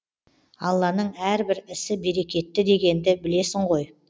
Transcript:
алланың әрбір ісі берекетті дегенді білесің ғой